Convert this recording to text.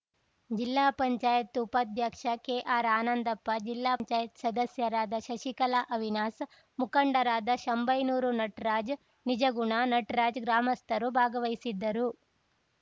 ಜಿಲ್ಲಾಪಂಚಾಯತ್ ಉಪಾಧ್ಯಕ್ಷ ಕೆಆರ್‌ ಆನಂದಪ್ಪ ಜಿಲ್ಲಾಪಂಚಾಯತ್ ಸದಸ್ಯರಾದ ಶಶಿಕಲಾ ಅವಿನಾಶ್‌ ಮುಖಂಡರಾದ ಶಂಭೈನೂರು ನಟರಾಜ್ ನಿಜಗುಣ ನಟರಾಜ್‌ ಗ್ರಾಮಸ್ಥರು ಭಾಗವಹಿಸಿದ್ದರು